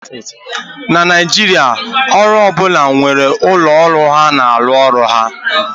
na Naijiria, ọrụ ọ bụla nwere ụlọ ọrụ ha na-arụ ọrụ ha